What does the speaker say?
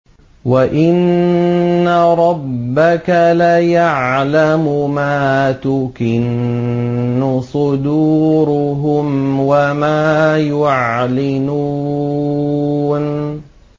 وَإِنَّ رَبَّكَ لَيَعْلَمُ مَا تُكِنُّ صُدُورُهُمْ وَمَا يُعْلِنُونَ